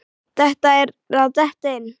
Þetta er að detta inn.